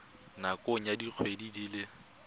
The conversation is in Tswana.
nakong ya dikgwedi di le